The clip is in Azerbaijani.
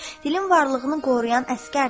Dilin varlığını qoruyan əsgərdir.